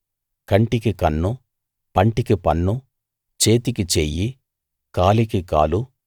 కంటికి కన్ను పంటికి పన్ను చేతికి చెయ్యి కాలికి కాలు